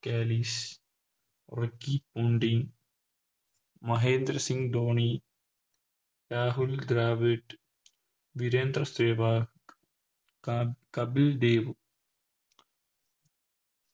Kallis Ricky Ponting Mahendra Singh Dhoni Rahul Dravid Virender Sehwag ക കപിൽ ദേവ്